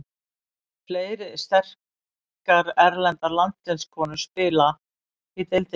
Fleiri sterkar erlendar landsliðskonur spila í deildinni.